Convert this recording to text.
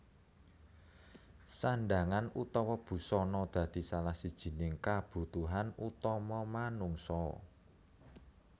Sandhangan utawa busana dadi salah sijining kabutuhan utama manungsa